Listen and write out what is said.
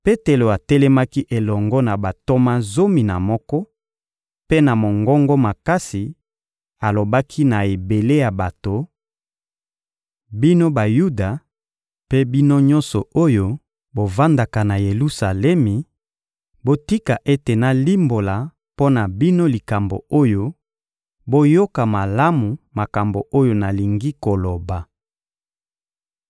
Petelo atelemaki elongo na bantoma zomi na moko; mpe na mongongo makasi, alobaki na ebele ya bato: — Bino Bayuda, mpe bino nyonso oyo bovandaka na Yelusalemi, botika ete nalimbola mpo na bino likambo oyo, boyoka malamu makambo oyo nalingi koloba.